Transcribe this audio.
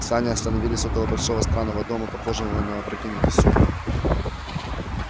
сани остановились около большого странного дома похожего на опрокинутый супник